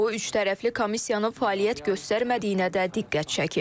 O üçtərəfli komissiyanın fəaliyyət göstərmədiyinə də diqqət çəkib.